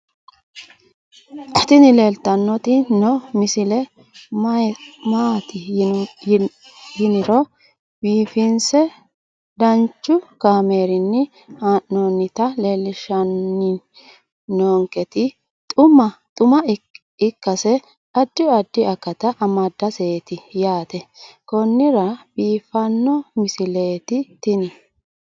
tini leeltanni noo misile maaati yiniro biifinse danchu kaamerinni haa'noonnita leellishshanni nonketi xuma ikkase addi addi akata amadaseeti yaate konnira biiffanno misileeti tini